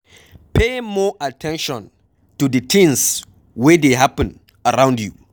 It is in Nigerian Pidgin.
Pay more at ten tion to di things wey dey happen around you